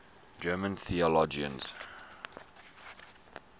german theologians